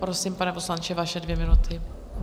Prosím, pane poslanče, vaše dvě minuty.